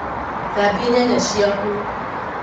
Thambia nyanya ciaku